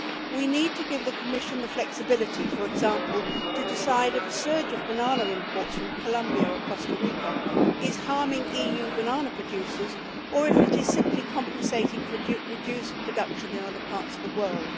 We need to give the Commission the flexibility to decide, for example, if a surge in banana imports from Colombia or Costa Rica is harming EU banana producers or if it is simply compensating for reduced production in other parts of the world.